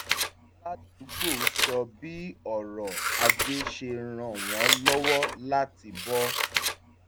aládùúgbò sọ bí ọrọ̀ ajé ṣe ràn wọ́n lọ́wọ́ láti bọ